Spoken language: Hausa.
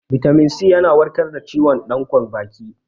Bitamin C yana warkar da ciwon danƙon baki